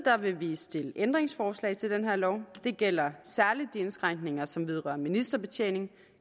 vil vi stille ændringsforslag til den her lov det gælder særlig de indskrænkninger som vedrører ministerbetjening